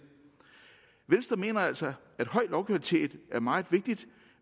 venstre mener altså at høj lovkvalitet er meget vigtig